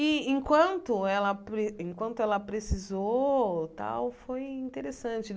E, enquanto ela pre enquanto ela precisou tal, foi interessante.